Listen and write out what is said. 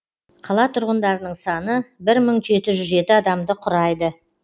қала тұрғындарының саны бір мың жеті жүз жеті адамды құрайды